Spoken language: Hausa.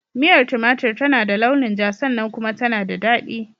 Miyar tumatur tana da launin ja sannan kuma tana da daɗi.